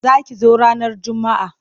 Za ki zo ranar Juma'a.